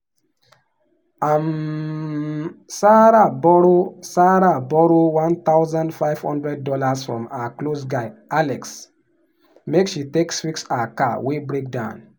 um sarah borrow sarah borrow one thousand five hundred dollars from her close guy alex make she take fix her car wey break down.